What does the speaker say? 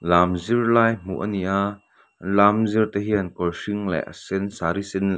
lam zir lai hmuh a ni a lam zir te hian kawr hring leh a sen saree sen --